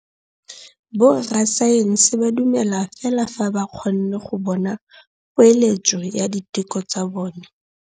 Borra saense ba dumela fela fa ba kgonne go bona poeletsô ya diteko tsa bone.